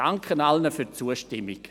Dank an alle für die Zustimmung.